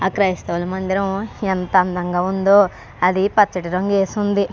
ఆ క్రైస్తవ మందిరం ఎంత అందంగా ఉందో ఇది పచ్చటి రంగు వేసి ఉంది.